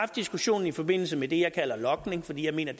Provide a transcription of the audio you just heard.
diskussionen i forbindelse med det jeg kalder logning fordi jeg mener